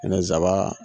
N'i sabaa